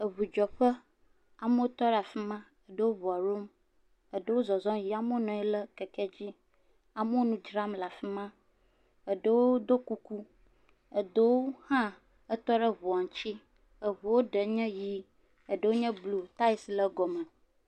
Eŋudzeƒe. amewo tɔ ɖe afima, eɖewo ŋua ɖom, eɖewo zɔzɔ yiyim. Amewo nɔ anyi ɖe keke dzi. Amewo nu dzram le afima. eɖewo ɖɔ kuku, eɖewo hã tɔ ɖe ŋua ŋuti. Eɔua ɖewo nyi ʋi, ɖewo nye blu. Taya le egɔme.